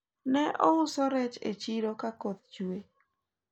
ne ouso rech e chiro ka koth chuwe